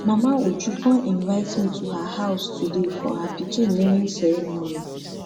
mama uju come invite me to her house today for her pikin naming ceremony